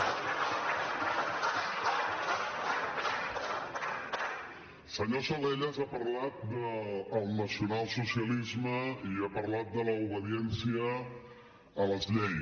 senyor salellas ha parlat del nacionalsocialisme i ha parlat de l’obediència a les lleis